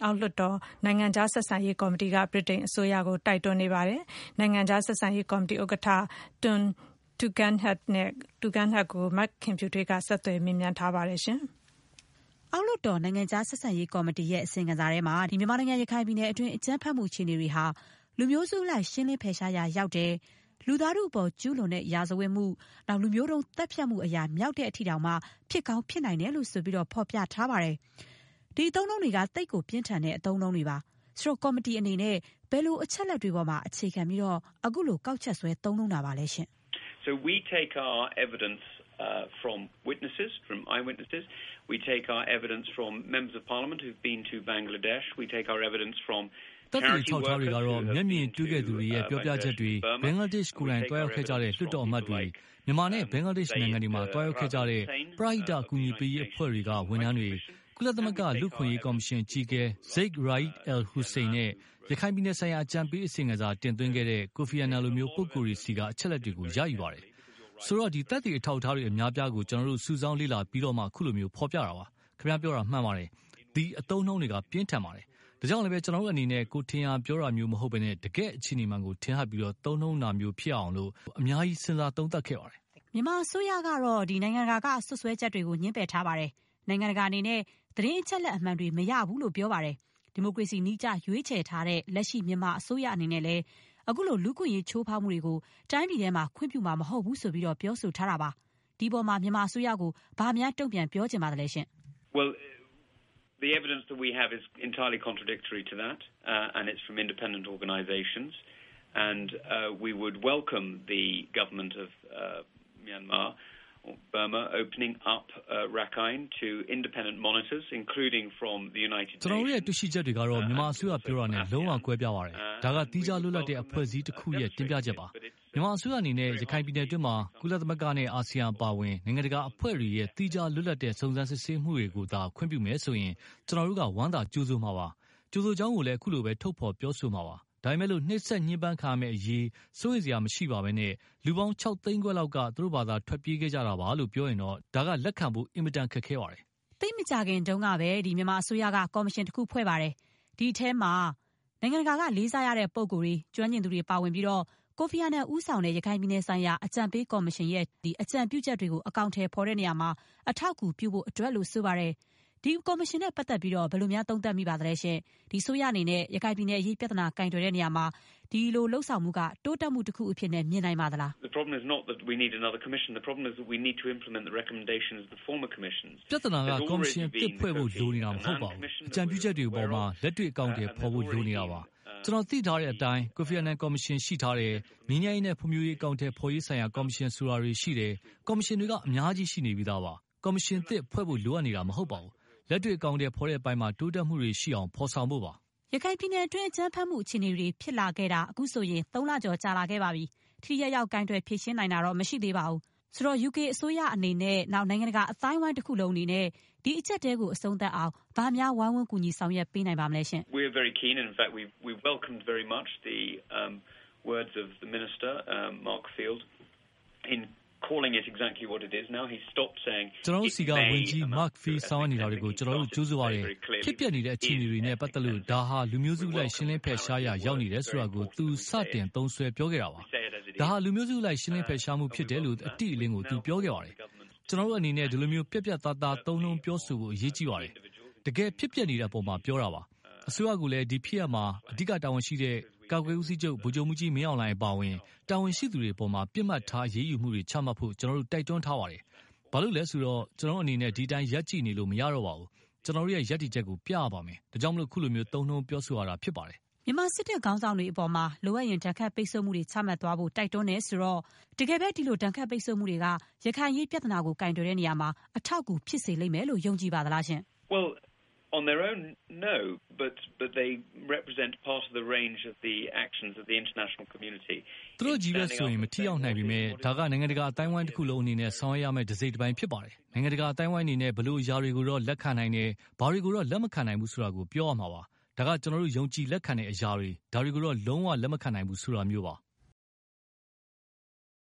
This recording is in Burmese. အောက်လွှတ်တော် နိုင်ငံခြားဆက်ဆံရေးကော်မတီရဲ့ အစီရင်ခံစာထဲမှာ - ရခိုင်ပြည်နယ်တွင်း အကြမ်းဖက်မှု အခြေအနေတွေဟာ - လူမျိုးစုအလိုက် ရှင်းလင်းဖယ်ရှားရာ ရောက်တယ်။ လူသားထုအပေါ် ကျူးလွန်တဲ့ ရာဇဝတ်မှု၊ လူမျိုးတုံးသတ်ဖြတ်မှု အရာမြောက်တဲ့ အထိတောင် ဖြစ်ကောင်း ဖြစ်နိုင်တယ်လို့ ဆိုပြီး ဖော်ပြထားပါတယ်။ ဒီအသုံးအနှုန်းတွေက သိပ်ကို ပြင်းထန်တဲ့ အသုံးအနှုန်းတွေပါ။ ကော်မတီအနေနဲ့ ဘယ်လိုအချက်အလက်တွေအပေါ်မှာ အခြေခံပြီး အခုလို ကောက်ချက်ဆွဲ သုံးနှုန်းတာပါလဲ။ နိုင်ငံခြားဆက်ဆံရေးကော်မတီ ဥက္ကဋ္ဌ ။ ။“သက်သေအထောက်အထားတွေကတော့ မျက်မြင်တွေ့ခဲ့သူတွေရဲ့ ပြောပြချက်တွေ၊ ဘင်္ဂလားဒေ့ရှ်ကို ကိုယ်တိုင် သွားရောက်ခဲ့ကြတဲ့ လွှတ်တော်အမတ်တွေ၊ မြန်မာနဲ့ ဘင်္ဂလားဒေ့ရှ်နိုင်ငံတွေမှာ သွားရောက်ခဲ့ကြတဲ့ ပရဟိတ အကူအညီပေးရေးအဖွဲ့တွေက ဝန်ထမ်းတွေ၊ ကုလသမဂ္ဂ လူ့အခွင့်အရေး ကော်မရှင်အကြီးအကဲ Zeid Ra’ad al-Hussein နဲ့ ရခိုင်ပြည်နယ်ဆိုင်ရာ အကြံပေးအစီရင်ခံစာ တင်သွင်းခဲ့တဲ့ ကိုဖီအာနန် လို ပုဂ္ဂိုလ်တွေဆီက အချက်အလက်တွေကို ရယူပါတယ်။ ဆိုတော့ သက်သေအထောက်အထားတွေ အများအပြားကို ကျနော်တို့ စုဆောင်း လေ့လာပြီးတော့မှ ခုလို ဖော်ပြတာပါ။ ခင်ဗျားပြောတာမှန်ပါတယ်။ ဒီအသုံးအနှုန်းတွေက ပြင်းထန်ပါတယ်။ ဒါကြောင့်လဲ ကျနော်တို့ အနေနဲ့ ကိုယ်ထင်ရာ ပြောတာမျိုးမဟုတ်ဘဲ တကယ့် အခြေအနေမှန်ကို ထင်ဟပ်ပြီး သုံးနှုန်းတာမျိုးဖြစ်အောင် အများကြီး စဉ်းစား သုံးသပ်ခဲ့ပါတယ်။” မခင်ဖြူထွေး ။ ။ မြန်မာအစိုးရကတော့ နိုင်ငံတကာက စွပ်စွဲချက်တွေကို ငြင်းပယ်ထားပါတယ်။ နိုင်ငံတကာအနေနဲ့ သတင်းအချက်အလက် အမှန်တွေ မရဘူးလို့ ပြောပါတယ်။ ဒီမိုကရေစီနည်းကျ ရွေးချယ်ထားတဲ့ လက်ရှိ မြန်မာအစိုးရအနေနဲ့လည်း ခုလို လူ့အခွင့်အရေးချိုးဖောက်မှုတွေကို တိုင်းပြည်မှာ ခွင့်ပြုမှာ မဟုတ်ဘူးလို့ ပြောဆိုထားပါတယ်။ ဒီအပေါ်မှာ မြန်မာအစိုးရကို ဘာများ တုံ့ပြန် ပြောချင်ပါသလဲ။ နိုင်ငံခြားဆက်ဆံရေးကော်မတီ ဥက္ကဋ္ဌ ။ ။ “ကျနော်တို့ရဲ့ တွေ့ရှိချက်တွေကတော့ မြန်မာအစိုးရပြောတာနဲ့ လုံး၀ ကွဲပြားပါတယ်။ ဒါက သီးခြားလွတ်လပ်တဲ့ အဖွဲ့အစည်းတခုရဲ့ တင်ပြချက်ပါ။ မြန်မာအစိုးရအနေနဲ့ ရခိုင်ပြည်နယ်အတွင်းမှာ ကုလသမဂ္ဂ နဲ့ အာဆီယံ အပါအဝင် နိုင်ငံတကာအဖွဲ့တွေရဲ့ သီးခြား လွတ်လပ်တဲ့ စုံစမ်းစစ်ဆေးမှုတွေကိုသာ ခွင့်ပြုမယ်ဆိုရင် ကျနော်တို့က ဝမ်းသာ ကြိုဆိုမှာပါ။ ကြိုဆိုကြောင်းကိုလည်း ခုလိုပဲ ထုတ်ဖော် ပြောဆိုမှာပါ။ ဒါပေမဲ့ နှိပ်စက်ညှင်းပမ်းခံရမယ့်အရေး စိုးရိမ်စရာမရှိပါဘဲ လူပေါင်း ခြောက်သိန်းခွဲလောက်က သူတို့ဘာသာ ထွက်ပြေးခဲ့ကြ တာပါလို့ ပြောရင်တော့ ဒါက လက်ခံဖို့ အင်မတန် ခက်ပါတယ်။” မခင်ဖြူထွေး ။ ။သိပ်မကြာခင်ကပဲ မြန်မာအစိုးရက ကော်မရှင ်တခုဖွဲ့ပါတယ်။ ဒီအထဲမှာ နိုင်ငံတကာက လေးစားရတဲ့ ပုဂ္ဂိုလ်တွေ၊ ကျွမ်းကျင်သူတွေ ပါဝင်ပြီး ကိုဖီအာနန်ဦးဆောင်တဲ့ ရခိုင်ပြည်နယ်ဆိုင်ရာ အကြံပေးကော်မရှင်ရဲ့ အကြံပြုချက်တွေ အကောင်အထည်ဖော်ရာမှာ အထောက်အကူ ပြုနိုင်ဖို့အတွက်လို့ ဆိုပါတယ်။ ဒီကော်မရှင်နဲ့ပတ်သက်လို့ ဘယ်လို သုံးသပ်မိပါသလဲ။ အစိုးရအနေနဲ့ ရခိုင်ပြည်နယ် အရေးပြဿနာ ကိုင်တွယ်ရာမှာ ဒီလုပ်ဆောင်မှုက တိုးတက်မှုတခုအဖြစ် မြင်နိုင်ပါသလား။ နိုင်ငံခြားဆက်ဆံရေးကော်မတီ ဥက္ကဋ္ဌ ။ ။“ပြဿနာက ကော်မရှင်အသစ်ဖွဲ့ဖို့ လိုနေတာမဟုတ်ပါဘူး။ အကြံပြုချက်တွေကို လက်တွေ့ အကောင်အထည်ဖော်ဖို့ လိုနေတာပါ။ ကျနော်တို့ သိထားတဲ့အတိုင်း ကိုဖီအာနန် ကော်မရှင် ရှိထားတယ်။ ငြိမ်းချမ်းရေးနဲ့ ဖွံ့ဖြိုးရေး အကောင်အထည်ဖော်ရေး ဆိုင်ရာ ကော်မရှင် ဆိုတာတွေ ရှိတယ်။ ကော်မရှင်တွေက အများကြီး ရှိနေပြီးသားပါ။ ကော်မရှင်သစ် ဖွဲ့ဖို့လိုအပ်နေတာ မဟုတ်ပါဘူး။ လက်တွေ့ အကောင်အထည် ဖော်တဲ့နေရာမှာ တိုးတက်မှုတွေရှိအောင် ဖော်ဆောင်ဖို့ပါ။” မခင်ဖြူထွေး ။ ။ရခိုင်ပြည်နယ်အတွင်း အကြမ်းဖက်မှု အခြေအနေတွေ ဖြစ်လာခဲ့တာ အခုဆိုရင် သုံးလာကျော် ကြာလာခဲ့ပါပြီ။ ထိထိရောက်ရောက် ကိုင်တွယ် ဖြေရှင်းနိုင်ခြင်းတော့ မရှိသေးပါဘူး။ UK အစိုးရအနေနဲ့၊ နိုင်ငံတကာ အသိုင်းအဝိုင်း တခုလုံး အနေနဲ့ ဒီအကျပ်အတည်း အဆုံးသတ်အောင် ဘာများ ဝိုင်းဝန်း ကူညီ ဆောင်ရွက်ပေးနိုင်ပါမလဲ။ နိုင်ငံခြားဆက်ဆံရေးကော်မတီ ဥက္ကဋ္ဌ ။ ။ “ကျနော်တို့ဆီက ဝန်ကြီး Mark Field ဆောင်ရွက်နေတာတွေကို ကျနော်တို့ ကြိုဆိုပါတယ်။ ဖြစ်ပျက်နေတဲ့ အခြေအနေတွေနဲ့ ပတ်သက်လို့ ဒါဟာ လူမျိုးစုအလိုက် ရှင်းလင်းဖယ်ရှားရာ ရောက်နေတယ်ဆိုတာကို သူ စတင် သုံးစွဲ ပြောခဲ့တာပါ။ ဒါဟာ လူမျိုးစုအလိုက် ရှင်းလင်းဖယ်ရှားမှု ဖြစ်တယ်လို့ အတိအလင်း သူ ပြောခဲ့ပါတယ်။ ကျနော်တို့အနေနဲ့ ဒီလို ပြတ်ပြတ်သားသား သုံးနှုန်းပြောဆိုဖို့ အရေးကြီးပါတယ်။ တကယ် ဖြစ်ပျက်နေတဲ့အပေါ်မှာ ပြောဆိုတာပါ။ အစိုးရကိုလည်း ဒီဖြစ်ရပ်မှာ အဓိကတာဝန်ရှိတဲ့ ကာကွယ်ရေးဦးစီးချုပ် ဗိုလ်ချုပ်မှူးကြီး မင်းအောင်လှိုင် အပါအဝင် တာဝန်ရှိသူတွေအပေါ် ပစ်မှတ်ထား အရေးယူမှုတွေ ချမှတ်ဖို့ ကျနော်တို့ တိုက်တွန်းထားပါတယ်။ ဘာဖြစ်လို့လဲ ဆိုတော့ ကျနော်တို့အနေနဲ့ ဒီအတိုင်း ရပ်ကြည့်နေလို့ မရတော့ပါဘူး။ ကျနော်တို့ရဲ့ ရည်တည်ချက်ကို ပြရပါမယ်။ ဒါကြောင့် ခုလို သုံးနှုန်းပြောဆိုရတာလည်း ဖြစ်ပါတယ်။” မခင်ဖြူထွေး ။ ။ မြန်မာစစ်တပ်ခေါင်းဆောင်တွေအပေါ် လိုအပ်ရင် ဒဏ်ခတ်ပိတ်ဆို့မှုတွေ ချမှတ်သွားဖို့ တိုက်တွန်းတယ်ဆိုတော့ - တကယ်ပဲ ဒီလို ဒဏ်ခတ်ပိတ်ဆို့မှုတွေက ရခိုင်အရေး ပြဿနာကို ကိုင်တွယ်ရာမှာ အထောက်အကူ ဖြစ်စေလိမ့်မယ်လို့ ယုံကြည်ပါသလား။ နိုင်ငံခြားဆက်ဆံရေးကော်မတီ ဥက္ကဋ္ဌ ။ ။“သူတို့ချည်းပဲဆိုရင် မထိရောက်နိုင်ပေမဲ့၊ ဒါက နိုင်ငံတကာ အသိုင်းအဝိုင်းတခုလုံးအနေနဲ့ ဆောင်ရွက်ရမယ့် တစိတ်တပိုင်း ဖြစ်ပါတယ်။ နိုင်ငံတကာ အသိုင်းအဝိုင်း အနေနဲ့ ဘယ်လိုအရာတွေကိုတော့ လက်ခံနိုင်တယ်။ ဘယ်တွေကိုတော့ လက်မခံနိုင်ဘူးဆိုတာကို ပြောရမှာပါ။ ဒါက ကျနော်တို့ ယုံကြည်လက်ခံတဲ့ အရာတွေ၊ ဒါတွေကိုတော့ လုံး၀ လက်မခံနိုင်ဘူး ဆိုတာမျိုးပါ။”